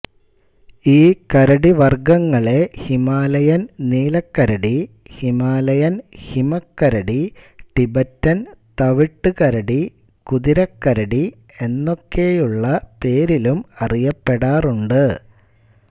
ഈ കരടി വർഗ്ഗങ്ങളെ ഹിമാലയൻ നീലക്കരടി ഹിമാലയൻ ഹിമക്കരടി ടിബറ്റൻ തവിട്ടു കരടി കുതിരക്കരടി എന്നൊക്കെയുള്ള പേരിലും അറയപ്പെടാറുണ്ട്